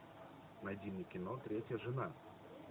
найди мне кино третья жена